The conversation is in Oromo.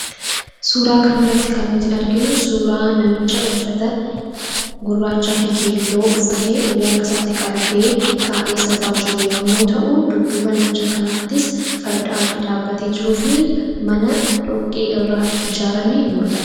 Suuraa kana irratti kan nuti arginu, suuraa namicha uffata gurraachaa fi keelloo uffatee ulee harkatti isaatti qabatee taa'ee sirbaa jiru yemmuu ta'u, dudduuba namicha kanaattis farda adii dhaabbatee jiruu fi mana dhoqqee irraa ijaarame ni mul'ata.